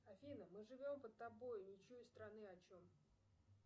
афина мы живем под тобой не чуя страны о чем